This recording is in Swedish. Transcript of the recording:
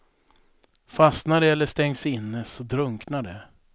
Fastnar de eller stängs inne, så drunknar de.